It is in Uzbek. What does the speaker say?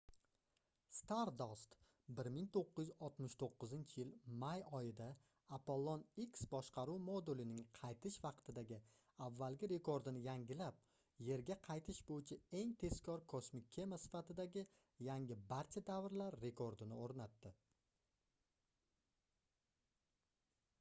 stardust 1969-yil may oyida apollon x boshqaruv modulining qaytish vaqtidagi avvalgi rekordini yangilab yerga qaytish boʻyicha eng tezkor kosmik kema sifatidagi yangi barcha davrlar rekordini oʻrnatdi